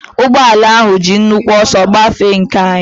Ụgbọala ahụ ji nnukwu ọsọ gbafee nke anyị.